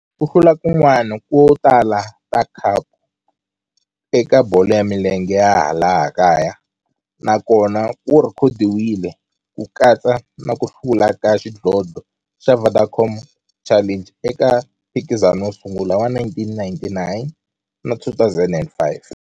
Ku hlula kun'wana ko tala ka khapu eka bolo ya milenge ya laha kaya na kona ku rhekhodiwile, ku katsa na ku hlula ka xidlodlo xa Vodacom Challenge eka mphikizano wo sungula wa 1999 na 2005.